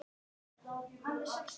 Berta og Guðni.